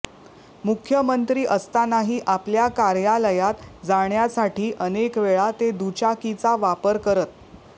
मुख्यमंत्री असतानाही आपल्या कार्यालयात जाण्यासाठी अनेकवेळा ते दुचाकीचा वापर करत